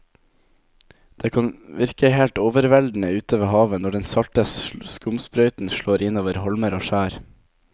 Det kan virke helt overveldende ute ved havet når den salte skumsprøyten slår innover holmer og skjær.